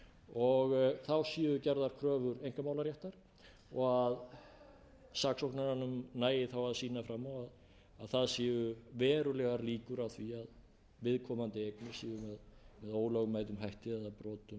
og þá séu gerðar kröfur einkamálaréttar og saksóknaranum nægi þá að sýna fram á að það séu verulegar líkur á því að viðkomandi eignir séu með ólögmætum hætti eða